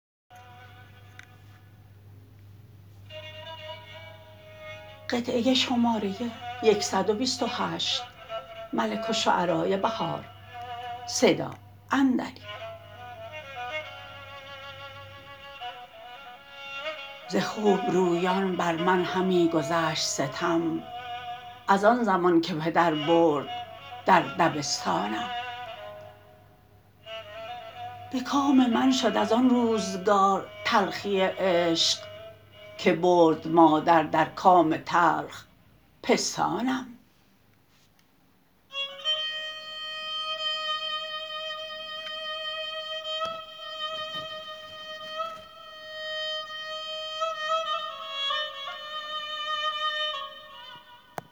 ز خوبرویان بر من همی گذشت ستم از آن زمان که پدر برد درد بستانم به کام من شد از آن روزگار تلخی عشق که برد مادر در کام تلخ پستانم